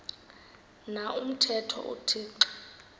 na umthetho uthixo